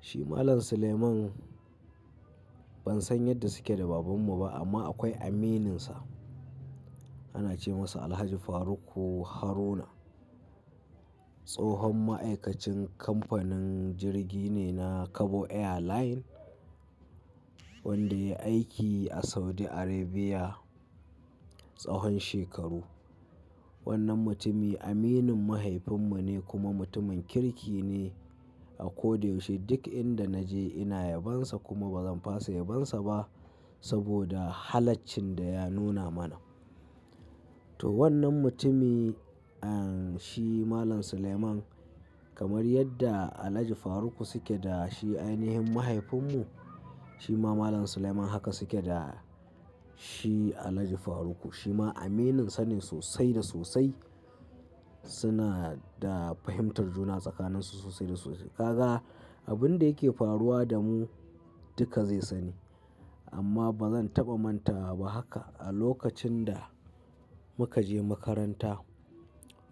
Shi Malam Suleiman ban san yadda suke da babanmu ba amma akwai amininsa. Ana ce masa Alhaji Faruk Haruna. Tsahon ma'aikacin kamfanin jirgi ne na Kabo Airline wanda yayi aiki a Saudi Arabia tsahon shekaru. Wannan mutumi aminin mahaifinmu ne kuma mutumin kirki ne a ko da yaushe. Duk inda naje ina yabonsa kuma bazan fasa yabonsa ba saboda halaccin da ya nuna mana. To wannan mutumi en shi Malam Suleiman kamar yadda Alhaji Faruk suke da shi ainihin mahaifinmu shi ma Malam Suleiman haka suke da shi Alhaji Faruk shi ma amininsa ne sosai da sosai. Suna da fahimtar juna tsakanin su sosai da sosai. Kaga abin da yake faruwa da mu duka zai sani amma bazan taɓa manta ba haka. A lokacin da muka je makaranta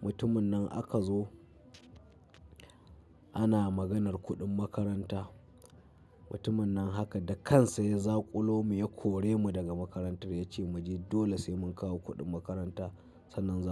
mutumin nan aka zo ana maganar kuɗin makaranta. Mutumin nan haka da kansa ya zaƙulo mu ya kore mu daga makarantar ya ce mu je dole sai mun kawo kuɗin makaranta sannan za mu.